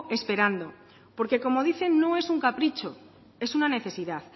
esperando porque como dicen no es un capricho es una necesidad